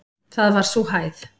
Það var sú hæð.